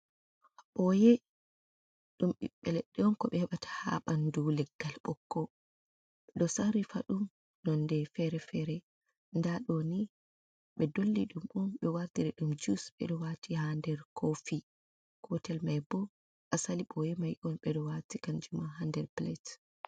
Boyee. Ɗum ɓiɓɓe leɗɗe on ko ɓe heɓata ha ɓandu leggal ɓokko. Ɓeɗo sarri faɗum non de fere-fere, nda ɗoni ɓe dolli ɗum ɓe wartire ɗum jus. Ɓeɗo wati ha nder koofi, gotel mai bo asali boye mai on ɓeɗo wati kanjuma ha nder plate.